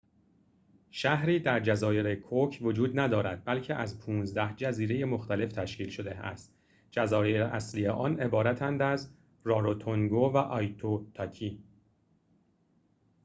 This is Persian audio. شهری در جزایر کوک وجود ندارد بلکه از ۱۵ جزیره مختلف تشکیل شده است جزایر اصلی عبارتند از راروتونگو و آیتوتاکی